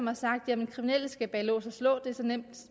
har sagt at kriminelle skal bag lås og slå det er så nemt